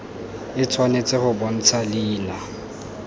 e tshwanetse go bontsha leina